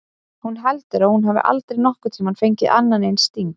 Hún heldur að hún hafi aldrei nokkurn tímann fengið annan eins sting.